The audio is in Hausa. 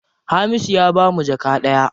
Hamisu ya bamu jaka ɗaya.